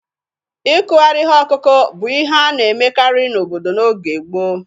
Ịkụgharị ihe ọkụkụ bụ ihe a na-emekarị n'obodo n' oge gboo